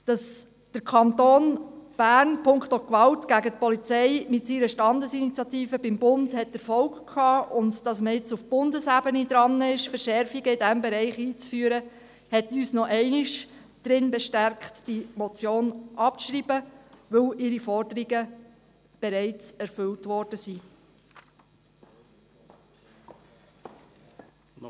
Dass der Kanton Bern punkto Gewalt gegen die Polizei mit seiner Standesinitiative beim Bund Erfolg gehabt hat und dass man auf Bundesebene nun daran ist, Verschärfungen in diesem Bereich einzuführen, hat uns nochmals darin bestärkt, diese Motion abzuschreiben, weil ihre Forderungen bereits erfüllt worden sind.